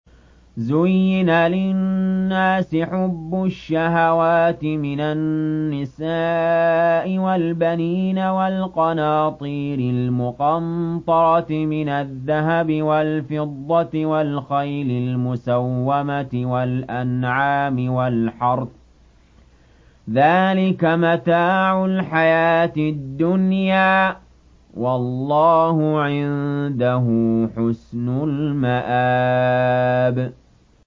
زُيِّنَ لِلنَّاسِ حُبُّ الشَّهَوَاتِ مِنَ النِّسَاءِ وَالْبَنِينَ وَالْقَنَاطِيرِ الْمُقَنطَرَةِ مِنَ الذَّهَبِ وَالْفِضَّةِ وَالْخَيْلِ الْمُسَوَّمَةِ وَالْأَنْعَامِ وَالْحَرْثِ ۗ ذَٰلِكَ مَتَاعُ الْحَيَاةِ الدُّنْيَا ۖ وَاللَّهُ عِندَهُ حُسْنُ الْمَآبِ